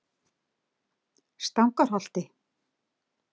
Stangarholti